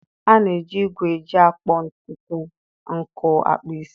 A na-eji igwe eji akpọ ntutu nkụ akpụ isi.